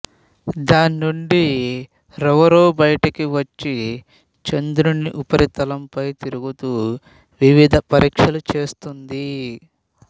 దాన్నుండి rover బయటకు వచ్చి చంద్రుని ఉపరితలంపై తిరుగుతూ వివిధ పరీక్షలు చేస్తుంది